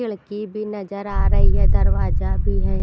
खिड़की भी नजर आ रही है दरवाजा भी है।